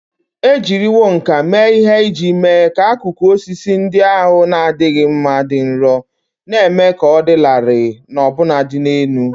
E jiriwo nkà mee ihe iji mee ka akụkụ osisi ndị ahụ na-adịghị mma dị nro, na-eme ka ọ dị larịị na ọbụnadị elu.